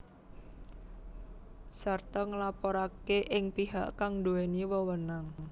Sarta nglaporake ing pihak kang duweni wewenang